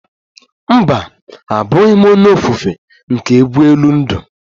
Mba, abughi m onye ofufe nke egwu elu ndụ